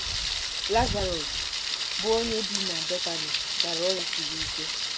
LAZARỌS, bụ́ onye bi na Betani, dara ọrịa siri ike.